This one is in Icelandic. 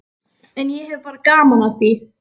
En ég hef bara gaman af því.